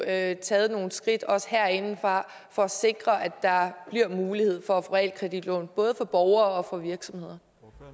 at tage nogle skridt også herindefra for at sikre at der bliver mulighed for at få realkreditlån både for borgere og virksomheder